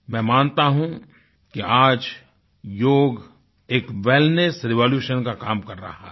मैं मानता हूँ कि आज योग एक वेलनेस रेवोल्यूशन का काम कर रहा है